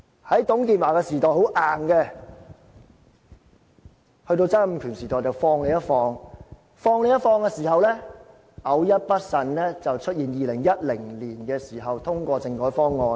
在董建華時代很硬，在曾蔭權時代放鬆一點，在放鬆一點的時候，偶一不慎便出現2010年通過的政改方案。